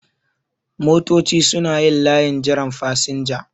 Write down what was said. Motoci suna yin layin jiran fasinja